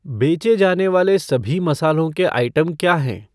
बेचे जाने वाले सभी मसालों के आइटम क्या हैं?